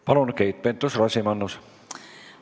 Palun, Keit Pentus-Rosimannus!